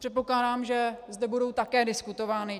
Předpokládám, že zde budou také diskutovány.